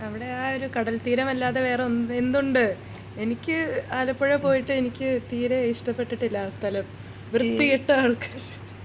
അവിടെ ആ ഒരു കടൽ തീരം അല്ലാതെ വേറെ എന്തുണ്ട് എനിക്ക് ആലപ്പുഴ പോയിട്ട് എനിക്ക് തീരെ ഇഷ്ടപ്പെട്ടില്ല ആ സ്ഥലം വൃത്തികെട്ട ആൾക്കാര്